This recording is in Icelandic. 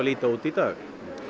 líta út í dag